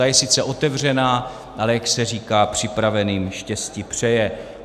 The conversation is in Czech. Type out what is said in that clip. Ta je sice otevřena, ale jak se říká, připraveným štěstí přeje.